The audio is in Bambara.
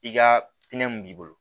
I ka hinɛ mun b'i bolo